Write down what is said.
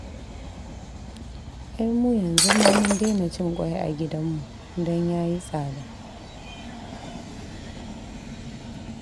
Ai mu yanzu ma mun daina cin ƙwai a gidanmu, don ya yi tsada